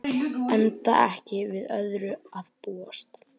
Enda ekki við öðru að búast